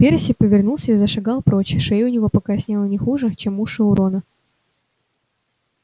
перси повернулся и зашагал прочь шея у него покраснела не хуже чем уши у рона